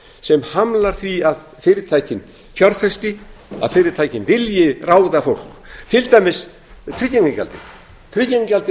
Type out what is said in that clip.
sem hamlar því að fyrirtækin fjárfesti að fyrirtækin vilji ráða fólk á tryggingagjaldið tryggingagjaldið